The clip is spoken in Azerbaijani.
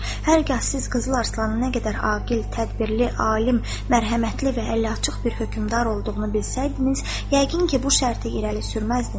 Hər kəs siz Qızıl Arslanın nə qədər ağıl, tədbirli, alim, mərhəmətli və əliaçıq bir hökmdar olduğunu bilsəydiniz, yəqin ki, bu şərti irəli sürməzdiniz.